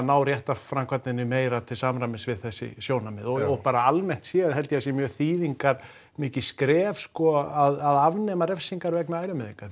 ná réttarframkvæmdinni meira til samræmis við þessi sjónarmið og bara almennt séð held ég að það sé mjög þýðingarmikið skref sko að afnema refsingar vegna ærumeiðinga